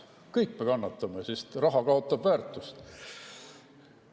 Kõik me kannatame, sest raha kaotab väärtust.